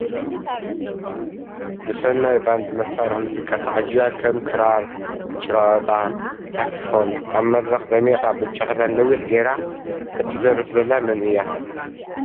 ብስናይ ባንድ መሳርሒ ሙዚቃ ተዓጂባ ክም ክራር ፣ጭራ ወጣ ፣ ሳክስ ፎን ፣ ኣብ ምድርኽ ድሚቃ ብጫ ክዳን ነዊሕ ጌራ እትደርፍ ዘላ ምን እያ ?